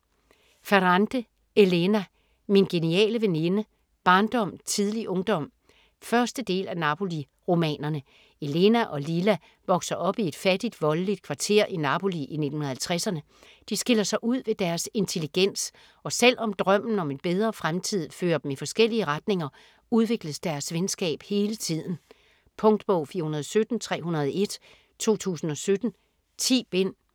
Ferrante, Elena: Min geniale veninde: barndom, tidlig ungdom 1. del af Napoli-romanerne. Elena og Lila vokser op i et fattigt voldeligt kvarter i Napoli i 1950'erne. De skiller sig ud ved deres intelligens, og selv om drømmen om en bedre fremtid fører dem i forskellige retninger, udvikles deres venskab hele tiden. Punktbog 417301 2017. 10 bind.